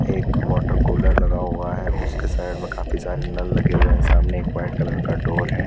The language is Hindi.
एक वाटर कूलर लगा हुआ है उसके साइड में काफी सारे नल लगे हुए हैं सामने एक वाइट कलर का डोर है।